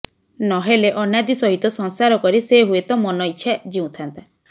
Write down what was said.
ନହେଲେ ଅନାଦି ସହିତ ସଂସାର କରି ସେ ହୁଏତ ମନଇଚ୍ଛା ଜୀଉଁଥାନ୍ତା